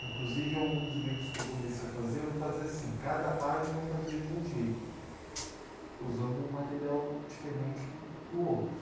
Inclusive, alguns livros que eu comecei a fazer, eu fazia assim, cada página eu fazia de um jeito, usando um material diferente do outro.